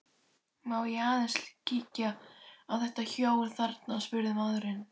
Má ég aðeins kíkja á þetta hjól þarna, spurði maðurinn.